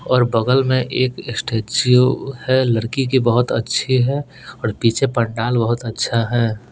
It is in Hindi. और बगल में एक स्टैचू है लड़की की बहुत अच्छी है और पीछे पंडाल बहुत अच्छा है।